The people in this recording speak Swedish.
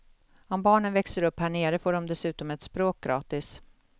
Om barnen växer upp här nere får de dessutom ett språk gratis.